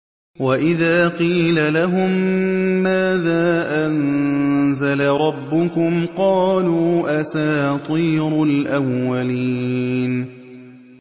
وَإِذَا قِيلَ لَهُم مَّاذَا أَنزَلَ رَبُّكُمْ ۙ قَالُوا أَسَاطِيرُ الْأَوَّلِينَ